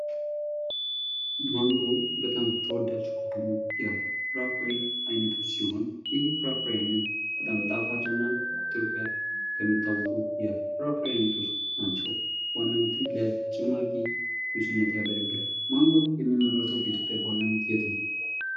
ማንጎ በጣም ተወዳጅ ከሆኑ ፍራፍሬ አይነቶች መካከል አንዱ ሲሆን ይህም ማንጎ በኢትዮጵያ ከሚያወቁ የፍራፍሬ አይነቶች ናቸው። በዋናነትም ለጭማቂ ጁስነት ያገለግላል። ማንጎ የሚመረተው በኢትዮጵያ በዋናነት የት ነው።